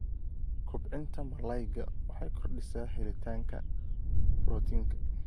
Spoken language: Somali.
kobcinta malaayga waxay kordhisaa helitaanka borotiinka.